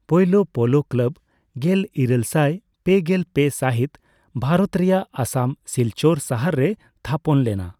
ᱯᱳᱭᱞᱳ polo club ᱜᱮᱞᱤᱨᱟᱹᱞᱥᱟᱭ ᱯᱮᱜᱮᱞ ᱯᱮ ᱥᱟᱦᱤᱛ ᱵᱷᱟᱨᱚᱛ ᱨᱮᱭᱟᱜ ᱟᱥᱟᱢ ᱥᱤᱞᱪᱚᱨ ᱥᱟᱦᱟᱨ ᱨᱮ ᱛᱷᱟᱯᱚᱱ ᱞᱮᱱᱟ ᱾